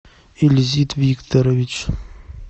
ильзит викторович